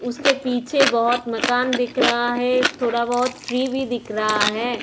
उसके पीछे बहोत मकान दिख रहा है थोड़ा बहोत ट्री भी दिख रहा है।